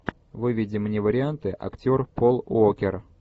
выведи мне варианты актер пол уокер